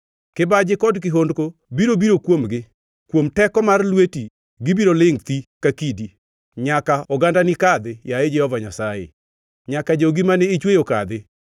kibaji kod kihondko biro biro kuomgi. Kuom teko mar lweti gibiro lingʼ thi ka kidi, nyaka ogandani kadhi, yaye Jehova Nyasaye, nyaka jogi mane ichweyo kadhi.